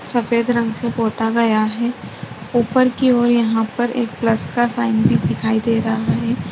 सफेद रंग से पोता गया है ऊपर की ओर यहां पर प्लस का साइन भी दिखाई दे रहा है।